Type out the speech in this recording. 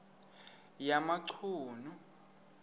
yamachunu